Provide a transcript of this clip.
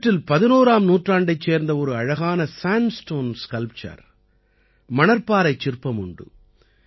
இவற்றில் 11ஆம் நூற்றாண்டைச் சேர்ந்த ஒரு அழகான சேண்ட்ஸ்டோன் ஸ்கல்ப்சர் மணற்பாறைச் சிற்பம் உண்டு